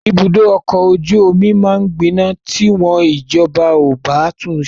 Ibùdó ọkọ ojú omi máa gbiná ti wọ́n ìjọba ò bá tun ṣe.